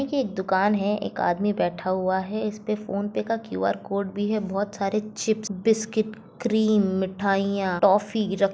यह दुकान है एक आदमी बैठ हुआ है इसमे फोनपे का क्यू .आर.कोड भी है बहुत सारे चिप्स बिस्किट क्रीम मिठाईया टॉफी --